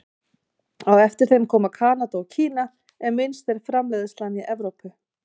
Á eftir þeim koma Kanada og Kína en minnst er framleiðslan í Evrópu.